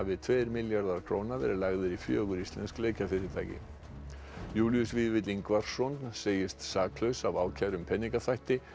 tveir milljarðar króna verið lagðir í fjögur íslensk leikjafyrirtæki Júlíus Vífill Ingvarsson segist saklaus af ákæru um peningaþvætti